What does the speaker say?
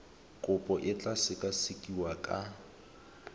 kopo e tla sekasekiwa ka